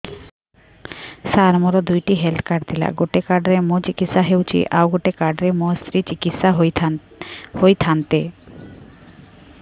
ସାର ମୋର ଦୁଇଟି health card ଥିଲା ଗୋଟେ କାର୍ଡ ରେ ମୁଁ ଚିକିତ୍ସା ହେଉଛି ଆଉ ଗୋଟେ କାର୍ଡ ରେ ମୋ ସ୍ତ୍ରୀ ଚିକିତ୍ସା ହୋଇଥାନ୍ତେ